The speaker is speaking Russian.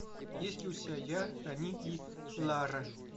есть ли у тебя я они и лара